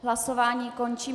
Hlasování končím.